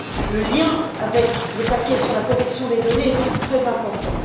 Le lien avec le paquet sur la protection des données est donc très important.